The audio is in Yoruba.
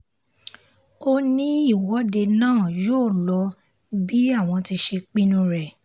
ó ní ìwọ́de náà yóò lọ bí àwọn ti ṣe pinnu rẹ̀